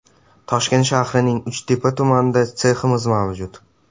Toshkent shahrining Uchtepa tumanida seximiz mavjud.